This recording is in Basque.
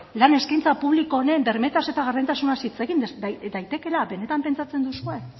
lan eskaintza publiko honen bermeetaz eta gardentasunez hitz egin daitekeela benetan pentsatzen duzue